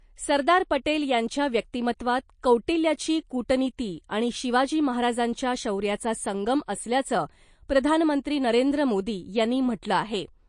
सरदार पटेल यांच्या व्यक्तिमत्त्वात कौटिल्याची कूटनीति आणि शिवाजी महाराजांच्या शौर्याचा संगम असल्याचं , प्रधानमंत्री नरेंद्र मोदी यांनी म्हटलं आहे .